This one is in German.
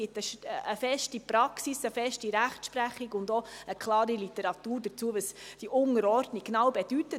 Es gibt eine feste Praxis, eine feste Rechtsprechung und auch eine klare Literatur dazu, was diese Unterordnung genau bedeutet.